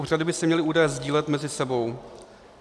Úřady by si měly údaje sdílet mezi sebou.